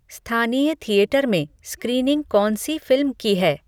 स्थानीय थिएटर में स्क्रीनिंग कौन सी फ़िल्म की है